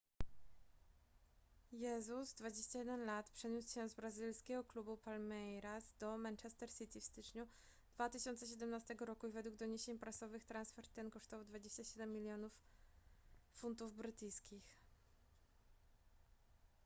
jesus 21 l. przeniósł się z brazylijskiego klubu palmeiras do manchester city w styczniu 2017 roku i według doniesień prasowych transfer ten kosztował 27 milionów gbp